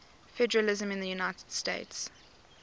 federalism in the united states